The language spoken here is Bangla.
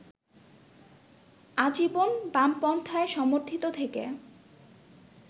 আজীবন বামপন্থায় সমর্থিত থেকে